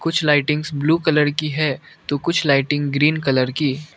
कुछ lightings blue colour की है तो कुछ लाइटिंग ग्रीन कलर की।